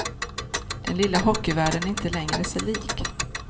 Den lilla hockeyvärlden är inte längre sig lik.